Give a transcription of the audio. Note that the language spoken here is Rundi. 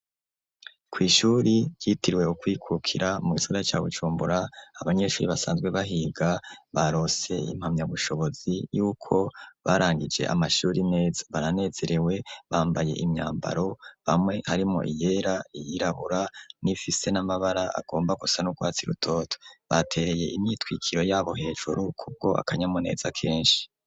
Kw'ishuri ryitirwe ukwikukira mu gisora ca bucumbura abanyeshuri basanzwe bahiga barose impamya bushobozi yuko barangije amashuri neza baranezerewe bambaye imyambaro bamwe harimo iyera iyirabura n'imfise n'amabara agomba kusa n'ukwatsai rutoto baa bereye imitwikiro yabo hejuru kubwo akanyamuneza kenshi.